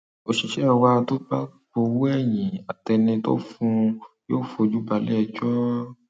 òṣìṣẹ wa tó bá gbowó ẹyìn àtẹni tó fún un yóò fojú balẹẹjọ